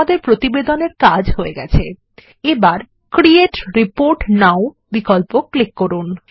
আমাদের প্রতিবেদনের কাজ হয়ে গেছেএবারCreate রিপোর্ট nowবিকল্প ক্লিক করুন